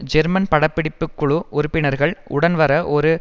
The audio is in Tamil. ஜெர்மன் பட பிடிப்பு குழு உறுப்பினர்கள் உடன் வர ஒரு